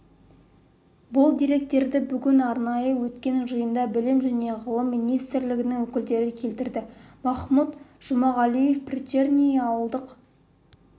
бұл деректерді бүгін арнайы өткен жиында білім және ғылым министрлігінің өкілдері келтірді махмұт жұмағалиев приречный ауылдық